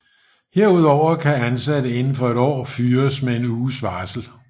Herudover kan ansatte inden for et år fyres med en uges varsel